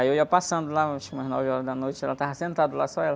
Aí eu ia passando lá, eu acho que umas nove horas da noite, ela estava sentada lá, só ela,